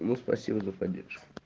ну спасибо за поддержку